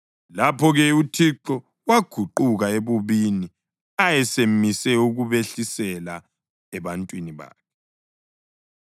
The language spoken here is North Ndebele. Lapho-ke uThixo waguquka ebubini ayesemise ukubehlisela ebantwini bakhe.